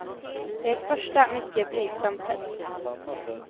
Det är ett första, mycket blygsamt test.